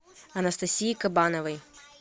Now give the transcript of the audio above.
анастасии кабановой